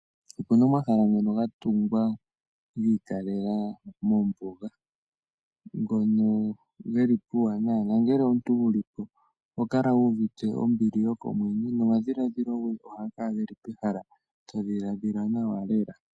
Opu na omahala ngoka ga tungwa gi ikalela mombuga ngono geli puuwanawa nongele omuntu wu li po oho kala wu uvite ombili yokomwenyo nomadhiladhilo goye ohaga kala ge li pehala to dhiladhila nawa lela.